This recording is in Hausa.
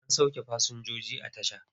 An sauke fasinjoji a tasha.